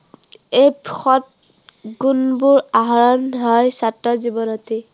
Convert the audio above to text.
এই সৎ গুণবোৰ আহৰণ হয় ছাত্ৰ জীৱনতেই।